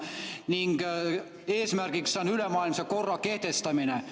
Nende eesmärgiks on ülemaailmse korra kehtestamine.